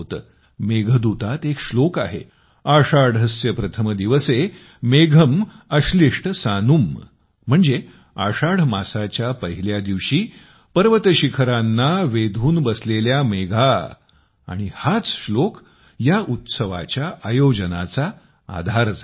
मेघदूतात एक श्लोक आहे आषाढस्य प्रथम दिवसे मेघम् आश्लिष्ट सानुम् म्हणजे आषाढ मासाच्या पहिल्या दिवशी पर्वत शिखरांना वेधून बसलेल्या मेघा आणि हाच श्लोक या उत्सवाच्या आयोजनाचा आधार झाला होता